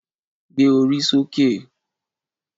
Gbé orí sókè